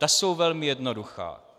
Ta jsou velmi jednoduchá.